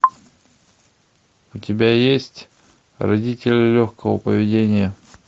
у тебя есть родители легкого поведения